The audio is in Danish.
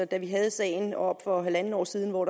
da vi havde sagen oppe for halvandet år siden hvor